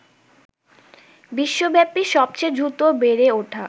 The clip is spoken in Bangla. বিশ্বব্যাপী সবচেয়ে দ্রুত বেড়ে ওঠা